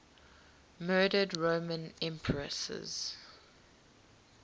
murdered roman empresses